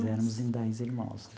Éramos em dez irmãos.